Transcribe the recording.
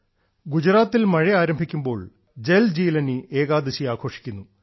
ഗുജറാത്തിൽ മഴ ആരംഭിക്കുമ്പോൾ ഞങ്ങൾ ജൽജീലാനി ഏകാദശി ആഘോഷിക്കുന്നു